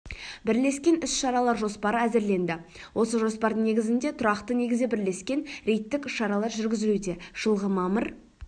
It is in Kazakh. бірлескен іс-шаралар жоспары әзірленді осы жоспардың негізінде тұрақты негізде бірлескен рейдтік іс-шаралар жүргізілуде жылғы мамыр